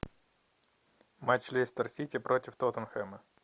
матч лестер сити против тоттенхэма